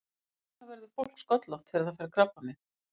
Hvers vegna verður fólk sköllótt þegar það fær krabbamein?